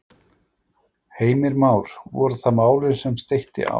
Heimir Már: Voru það málin sem steytti á?